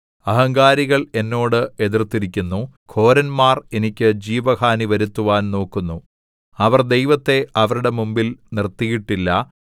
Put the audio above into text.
അഹങ്കാരികള്‍ എന്നോട് എതിർത്തിരിക്കുന്നു ഘോരന്മാർ എനിക്ക് ജീവഹാനി വരുത്തുവാൻ നോക്കുന്നു അവർ ദൈവത്തെ അവരുടെ മുമ്പിൽ നിർത്തിയിട്ടില്ല